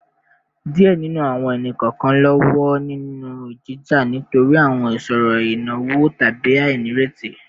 Diẹ ninu awọn ẹni-kọọkan lọwọ ninu jija nitori awọn iṣoro inawo tabi ainireti